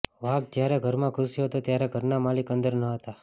વાઘ જ્યારે ઘરમાં ઘૂસ્યો હતો ત્યારે ઘરના માલિક અંદર ન હતા